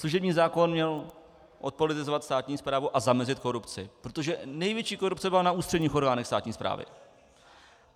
Služební zákon měl odpolitizovat státní správu a zamezit korupci, protože největší korupce byla na ústředních orgánech státní správy.